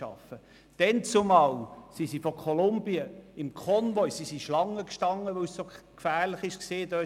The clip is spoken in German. Damals standen die Leute aus Kolumbien Schlange, weil es so gefährlich war.